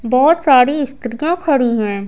बहुत सारी स्त्रियां खड़ी हैं।